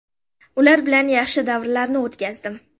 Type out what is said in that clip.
Ular bilan yaxshi davrlarni o‘tkazdim.